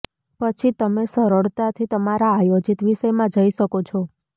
પછી તમે સરળતાથી તમારા આયોજિત વિષયમાં જઈ શકો છો